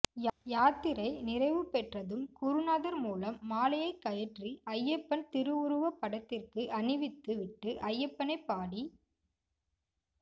யாத்திரை நிறைவு பெற்றதும் குருநாதர் மூலம் மாலையை கழற்றி ஐயப்பன் திருவுருவப் படத்திற்கு அணிவித்து விட்டு ஐயப்பனை பாடித்